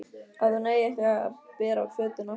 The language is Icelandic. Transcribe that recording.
Að hún eigi ekki að bera fötuna.